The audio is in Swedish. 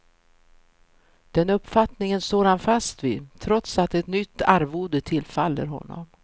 Den uppfattningen står han fast vid, trots att ett nytt arvode tillfaller honom.